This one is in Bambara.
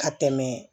Ka tɛmɛ